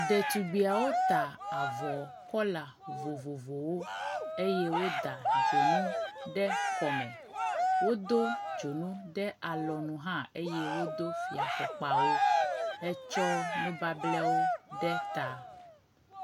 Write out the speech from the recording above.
ɖetugbiawo ta avɔ kɔla vovovowo eye woda dzonu ɖe kɔme. Wodo dzonu ɖe alɔnu hã eye wodo fiafɔkpawo hetsɔ nubable ɖe ta.